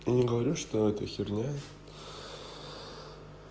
не говорю что это херня